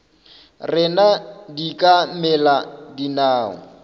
rena di ka mela dinao